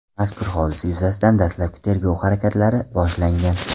Mazkur hodisa yuzasidan dastlabki tergov harakatlari boshlangan.